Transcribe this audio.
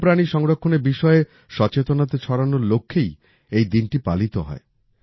বন্যপ্রাণী সংরক্ষণের বিষয়ে সচেতনতা ছড়ানোর লক্ষ্যেই এই দিনটি পালিত হয়